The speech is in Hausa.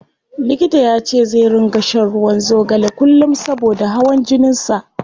Likita yace zai ringa shan ruwan zogale kullum saboda hawan jinin sa.